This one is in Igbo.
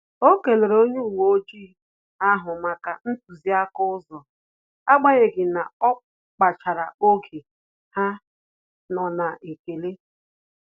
O kelere onye uwe ojii ahụ maka ntuziaka ụzọ, agbanyeghi na ọ kpachara oge ha nọ na-ekele